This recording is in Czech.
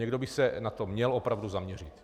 Někdo by se na to měl opravdu zaměřit.